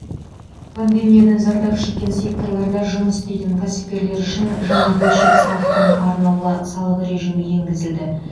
пандемиядан зардап шеккен секторларда жұмыс істейтін кәсіпкерлер үшін жаңа бөлшек салықтың арнаулы салық режимі енгізілді